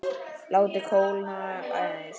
Látið kólna aðeins.